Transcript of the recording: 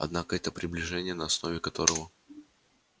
однако это приближение на основе которого